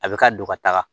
A bɛ ka don ka taga